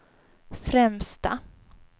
främsta